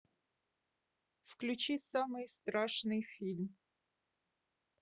включи самый страшный фильм